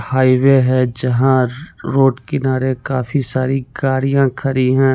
Highway है जहाँ road किनारे काफी सारी गाडियाँ खड़ी है।